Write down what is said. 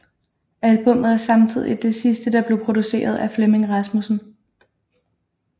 Albummet er samtidigt det sidste der blev produceret af Flemming Rasmussen